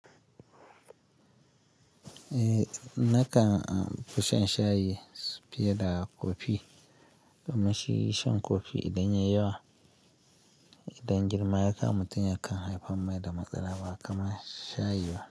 Eh nakan amfshi shan shayi fiye da kofi domin shi shan kofi idan yayi yawa, idan girma ya ka mutum yakan haifar mai da matsala ba kamar shayi ba.